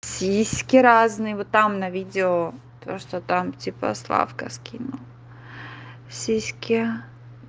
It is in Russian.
сиськи разные вы там на видео то что там типа славка скинул сиськи